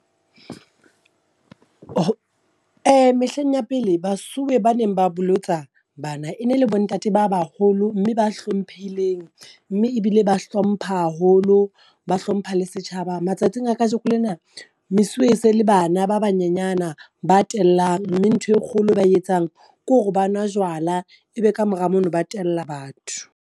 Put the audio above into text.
Mehleng ya pele basuwe ba neng ba bolotsa bana, e ne le bo ntate ba baholo mme ba hlomphehileng mme ebile ba hlompha haholo, ba hlompha le setjhaba matsatsing a kajeko lena. Mesuwe e se le bana ba banyenyana ba tellang, mme ntho e kgolo ba e etsang ke hore ba nwa jwala e be kamora mono, ba tella batho.